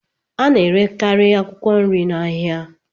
A na-erekarị akwụkwọ nri na ahịa